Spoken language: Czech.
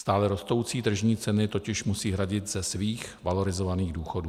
Stále rostoucí tržní ceny totiž musí hradit ze svých valorizovaných důchodů.